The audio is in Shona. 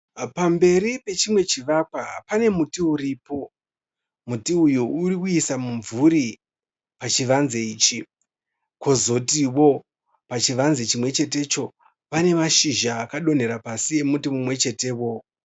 Pamberi pechimwe chivakwa pane muti uripo, muti uyu uri kuisa mumvuri pachivanze ichi, kozotiwo pachivanze chimwechetewo pane mashizha akadonhera pasi emuti mumwechetewo.